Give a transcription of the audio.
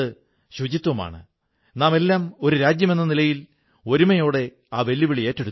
അദ്ദേഹം ശ്രീനഗറിലേക്ക് യാത്രചെയ്തതുകൊണ്ടാണ് അവിടെ ഒരു ശങ്കരാചാര്യഗിരി ഉള്ളത്